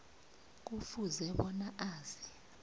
kufuze bona azi